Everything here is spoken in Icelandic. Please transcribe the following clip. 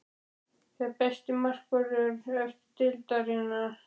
Hver er besti markvörður efstu deildar?